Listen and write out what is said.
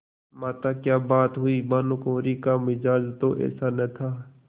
माताक्या बात हुई भानुकुँवरि का मिजाज तो ऐसा न था